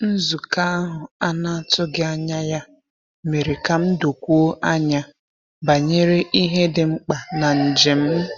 Nzukọ ahụ a na-atụghị anya ya mere ka m dokwuo anya banyere ihe dị mkpa na njem m.